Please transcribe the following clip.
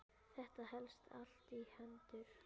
Þetta helst allt í hendur.